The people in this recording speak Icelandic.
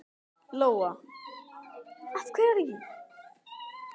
Lóa: Af hverju?